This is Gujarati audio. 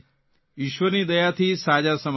ઇશ્વરની દયાથી સાજા સમા રહે